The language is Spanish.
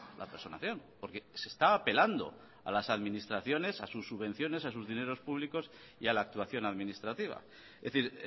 la personación porque se está apelando a las administraciones a sus subvenciones a sus dineros públicos y a la actuación administrativa es decir